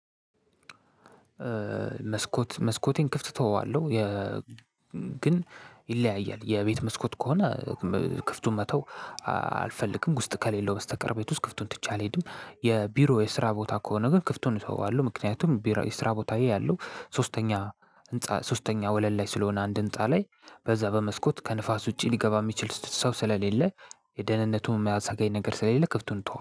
መስኮት መስኮቴን ክፍት እተወዋለሁ። ግን ይለያያል የቤት መስኮት ከሆነ ክፍቱን መተው አልፈልግም ውስጥ ከሌለው በስተቀር ቤት ውስጥ ክፍቱን ትቼ አልሄድም። የቢሮ የስራ ቦታ ከሆነ ግን ክፍቱን እተወዋለሁ ምክንያቱም ቢሮ የስራ ቦታዬ ያለው ሶስተኛ ህንፃ ሶስተኛ ወለል ላይ ስለሆነ አንድ ህንፃ ላይ በዛ በመስኮት ከንፋስ ውጪ ሊገባ የሚችል ሰው ስለሌለ የደህንነቱን የማያሰጋኝ ነገር ስለሌለ ክፍቱን እተወዋለሁ